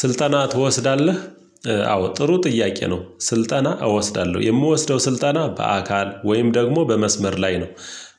ስልጠና ትወስዳለህ? አዎ ጥሩ ጥያቄ ነው ስልጠና እወስዳለሁ የምወስደው ስልጠና በአካል ወይም ደግሞ በመስመር ላይ ነው።